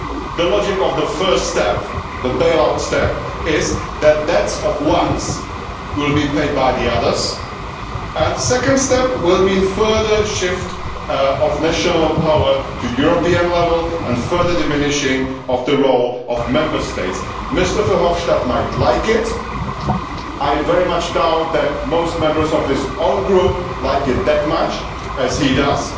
The logic of the first step, the bail out step, is that the debts of some will be paid by the others, and the second step will mean a further shift of national power to the European level and further diminishing of the role of Member States. Mr Verhofstadt might like it, I very much doubt that most members of his own group like it as much as he does